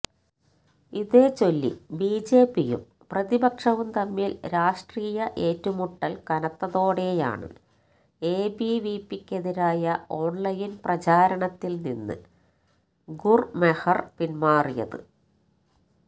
ഇതേച്ചൊല്ലി ബിജെപിയും പ്രതിപക്ഷവും തമ്മില് രാഷ്ട്രീയ ഏറ്റുമുട്ടല് കനത്തതോടെയാണ് എബിവിപിക്കെതിരായ ഓണ്ലൈന് പ്രചാരണത്തില് നിന്ന് ഗുര്മെഹര് പിന്മാറിയത്